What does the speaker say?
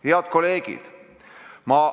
Head kolleegid!